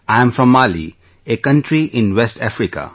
I am from Mali, a country in West Africa